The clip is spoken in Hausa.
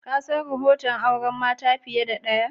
Ka san rohoton auren mata fiyar da daya?